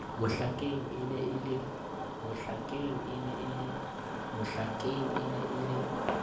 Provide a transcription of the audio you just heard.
mohlakeng e ne e le